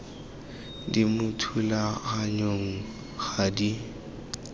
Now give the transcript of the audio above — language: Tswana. di mo thulaganyong ga di